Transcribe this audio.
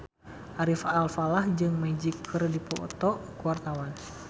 Ari Alfalah jeung Magic keur dipoto ku wartawan